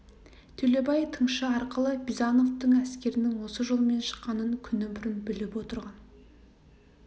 төлебай тыңшы арқылы бизановтың әскерінің осы жолмен шыққанын күні бұрын біліп отырған